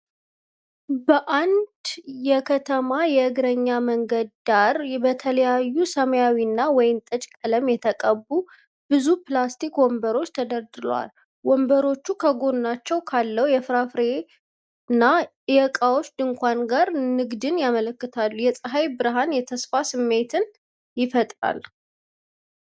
በአንድ የከተማ የእግረኛ መንገድ ዳር በተለያዩ ሰማያዊና ወይንጠጅ ቀለም የተቀቡ ብዙ ፕላስቲክ ወንበሮች ተደርድረዋል። ወንበሮቹ ከጎናቸው ካለው የፍራፍሬና የዕቃዎች ድንኳን ጋር ንግድን ያመለክታሉ። የፀሐይ ብርሃን የተስፋን ስሜት ይፈጥራል።